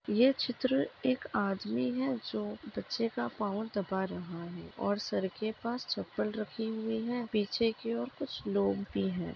यह चित्र एक आदमी हैं जो बच्चे का पाँव दबा रहा हैं और सर के पास चप्पल रखी हुई हैं पीछे की और कुछ लोग भी हैं।